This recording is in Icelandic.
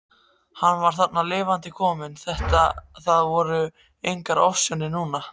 Hann var þarna lifandi kominn, það voru engar ofsjónir núna!